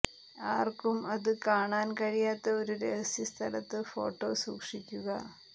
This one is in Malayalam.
ആർക്കും അത് കാണാൻ കഴിയാത്ത ഒരു രഹസ്യ സ്ഥലത്ത് ഫോട്ടോ സൂക്ഷിക്കുക